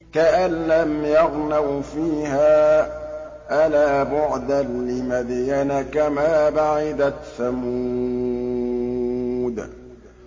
كَأَن لَّمْ يَغْنَوْا فِيهَا ۗ أَلَا بُعْدًا لِّمَدْيَنَ كَمَا بَعِدَتْ ثَمُودُ